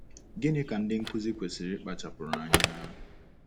Gịnị ka ndị nkụzi kwesịrị ịkpachapụrụ anyaaa?